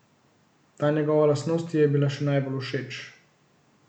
Ta njegova lastnost ji je bila še najbolj všeč.